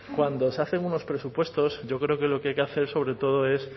cuando se hacen unos presupuestos yo creo que lo que hay que hacer sobre todo es